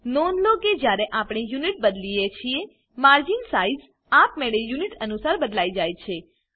નોંધ લો કે જયારે આપણેUnit બદલીએ છીએ માર્જિન સાઈઝ આપમેળે યુનિટ અનુસાર બદલાઈ જાય છે